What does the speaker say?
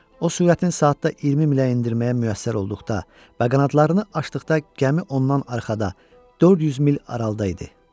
O sürətin saatda 20 milə endirməyə müvəffəq olduqda və qanadlarını açdıqda gəmi ondan arxada 400 mil aralıda idi.